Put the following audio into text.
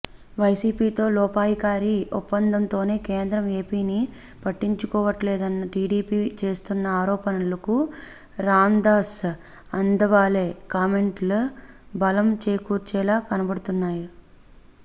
వైసీపీతో లోపాయికారీ ఒప్పందంతోనే కేంద్రం ఏపీని పట్టించుకోవట్లేదన్న టీడీపీ చేస్తున్న ఆరోపణలకు రాందాస్ అథవాలే కామెంట్లు బలం చేకూర్చేలా కనబడుతున్నాయి